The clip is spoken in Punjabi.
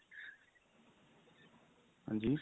ਹਾਂਜੀ